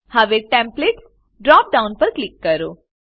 હવે templates drop down પર click કરો